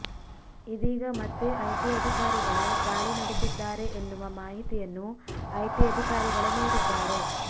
ಇದೀಗ ಮತ್ತೆ ಐಟಿ ಅಧಿಕಾರಿಗಳು ದಾಳಿ ನಡೆಸಿದ್ದಾರೆ ಎನ್ನುವ ಮಾಹಿತಿಯನ್ನು ಐಟಿ ಅಧಿಕಾರಿಗಳೇ ನೀಡಿದ್ದಾರೆ